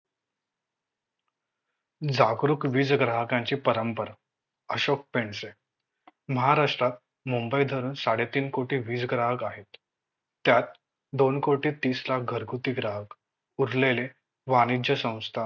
जागरूक वीज ग्राहकांची परंपर अशोक पेणसे महाराष्ट्रात मुंबई धरून साडे तीन कोटी वीज ग्राहक आहेत त्यात दोन कोटी तीस लाख घरगुती ग्राहक, उरलेले वाणिज्य संस्था